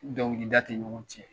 Dɔnkilida tɛ ɲɔgɔn cɛn.